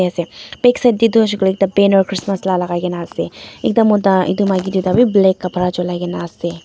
ase backside taetu hoishey koilae ekta banner christmas la lakai kaena ase ekta mota edu maki tuita bi black kapra cholai kaenaase.